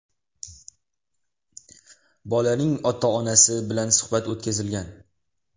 Bolaning ota-onasi bilan suhbat o‘tkazilgan.